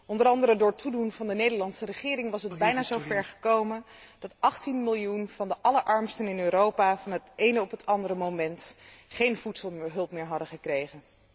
Onder andere door toedoen van de Nederlandse regering was het bijna zo ver gekomen dat 18 miljoen van de allerarmsten in Europa van het ene op het andere moment geen voedselhulp meer hadden gekregen.